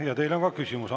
Ja teile on ka küsimusi.